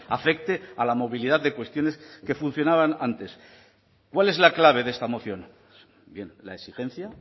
afecte a la movilidad de cuestiones que funcionaban antes cuál es la clave de esta moción bien la exigencia